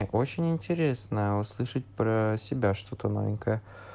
так очень интересно услышать про себя что-то новенькое